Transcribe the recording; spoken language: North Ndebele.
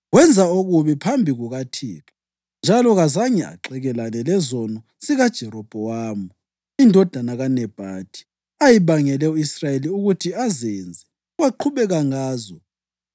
Wenza okubi phambi kukaThixo njalo kazange axekelane lezono zikaJerobhowamu indodana kaNebhathi, ayebangele u-Israyeli ukuthi azenze, waqhubeka ngazo.